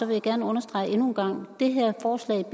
jeg gerne understrege endnu en gang at det her forslag jo